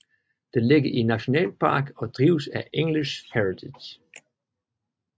Det ligger i en nationalpark og drives af English Heritage